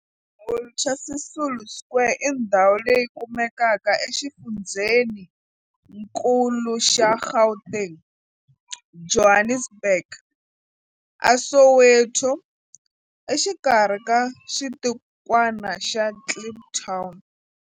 Walter Sisulu Square i ndhawu leyi kumekaka exifundzheninkulu xa Gauteng, Johannesburg, a Soweto, exikarhi ka xitikwana xa Kliptown.